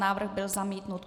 Návrh byl zamítnut.